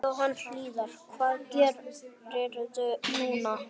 Jóhann Hlíðar: Hvað gerirðu núna?